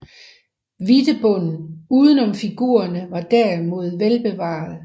Hvidtebunden uden om figurerne var derimod velbevaret